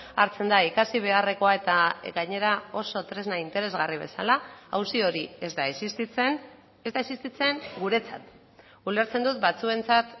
hartzen da ikasi beharrekoa eta gainera oso tresna interesgarri bezala auzi hori ez da existitzen ez da existitzen guretzat ulertzen dut batzuentzat